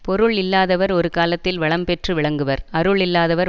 பொருள் இல்லாதவர் ஒரு காலத்தில் வளம் பெற்று விளங்குவர் அருள் இல்லாதவர்